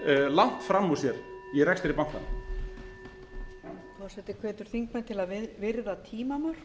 langt fram úr sér í rekstri bankanna forseti hvetur þingmenn til þess að virða tímamörk